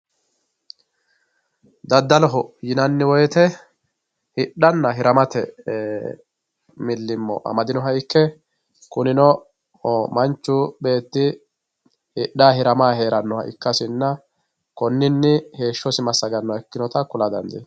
Dadaloho yinanni woyite hidhanna hiramate milimo amadinoha ikke, kunino manchu beeti hidhayi hiramayi heeranoha ikkasinna konnini heeshosi masaganoha ikkinota kula dandinnanni.